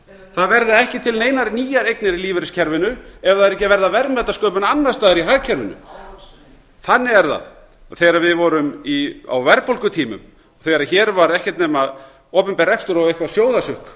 það verða ekki til neinar nýjar eignir í lífeyriskerfinu ef það er ekki að verða verðmætasköpun annars staðar í hagkerfinu þannig er það segir við vorum á verðbólgutímum þegar hér var ekkert nema opinber rekstur og eitthvert sjóðasukk